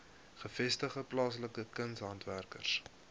gevestigde plaaslike kunshandwerkers